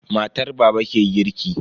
Matar baba ke girki.